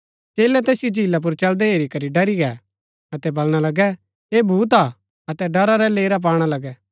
चेलै तैसिओ झीला पुर चलदै हेरी करी ड़री गै अतै बलणा लगै ऐह भूत हा अतै ड़रा रै लेरा पाणा लगै